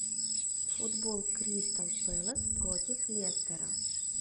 футбол кристал пэлас против лестера